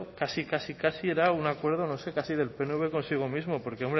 casi casi casi era un acuerdo no sé casi del pnv consigo mismo porque